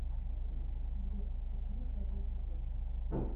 сбер почему ржавеет гвоздь